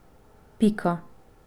Pika.